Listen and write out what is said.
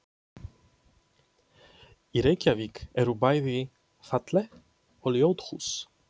Í Reykjavík eru bæði falleg og ljót hús.